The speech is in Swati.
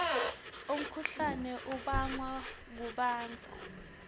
umkhuhlane ubangwa kubandza